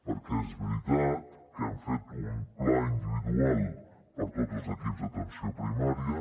perquè és veritat que hem fet un pla individual per a tots els equips d’atenció primària